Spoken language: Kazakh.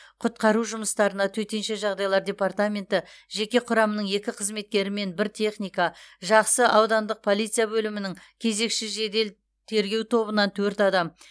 құтқару жұмыстарына төтенше жағдайлар департаменті жеке құрамының екі қызметкері мен бір техника жақсы аудандық полиция бөлімінің кезекші жедел тергеу тобынан төрт адам